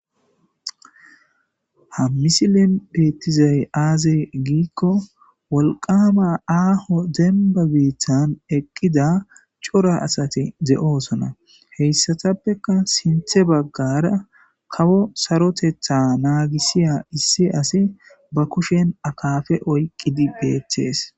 Ha misilen betizay azee gikon wolqama aho cora bittani eqida asati de'osona. Etappeka sintha bagara kawo sarotethi babisiza issi asi ba kushen akapa oykidi de'ees.